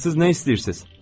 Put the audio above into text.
Axı siz nə istəyirsiz?